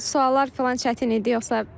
Suallar filan çətin idi yoxsa?